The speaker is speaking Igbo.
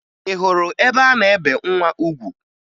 Ị hụrụ ebe a na-ebe nwa ugwu?